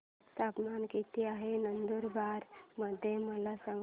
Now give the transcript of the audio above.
तापमान किता आहे नंदुरबार मध्ये मला सांगा